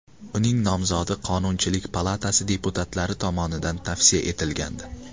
Uning nomzodi Qonunchilik palatasi deputatlari tomonidan tavsiya etilgandi .